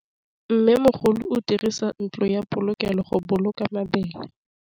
Mmêmogolô o dirisa ntlo ya polokêlô, go boloka mabele.